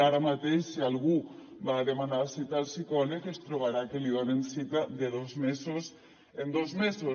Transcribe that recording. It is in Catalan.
ara mateix si algú va a demanar cita al psicòleg es trobarà que li donen cita de dos mesos en dos mesos